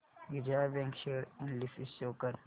Vijaya bank share analysis show कर